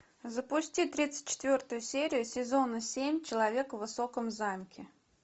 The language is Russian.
запусти тридцать четвертую серию сезона семь человека в высоком замке